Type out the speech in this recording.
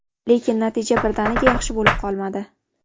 Lekin natija birdaniga yaxshi bo‘lib qolmadi.